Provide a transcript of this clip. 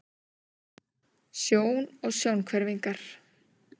Sjón og sjónhverfingar.